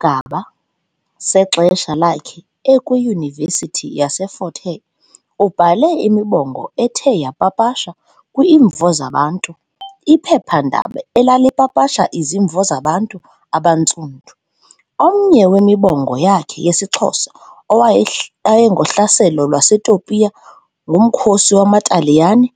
Kwisigaba sexesha lakhe ekwi-Yunivesithi yase-Fort Hare ubhale imibongo ethe yapapashwa kwi-Imvo Zabantsundu, iphepha-ndaba elalipapasha izimvo zabantu abantsundu. Omnye wemibongo yakhe yesiXhosa- owayengohlaselo lwaseTopiya ngumkhosi wamaTaliyane